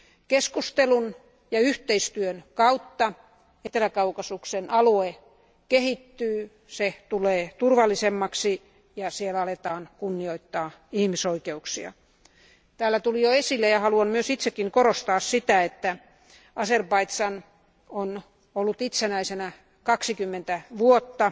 Keskustelun ja yhteistyön kautta Etelä Kaukasuksen alue kehittyy. Se tulee turvallisemmaksi ja siellä aletaan kunnioittaa ihmisoikeuksia. Täällä tuli jo esille ja haluan myös itsekin korostaa sitä, että Azerbaidžan on ollut itsenäisenä 20 vuotta.